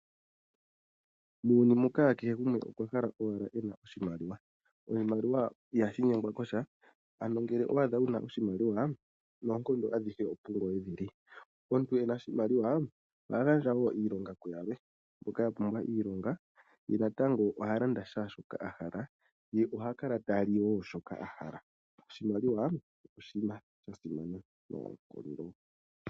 Muuyuni muka kehe gumwe okwa hala owala ena oshimaliwa. Oshimaliwa ihashi nyengwa kosha, ano ngele owa adha wuna oshimaliwa nonkondo adhihe opu ngoye dhili. Omuntu ena oshimaliwa oha gandja wo iilonga ku yalwe mboka ya pumbwa iilonga ye natango oha landa sha shoka ahala, ye oha kala ta li wo shoka ahala. Oshimaliwa oshinima sha simana noonkondo.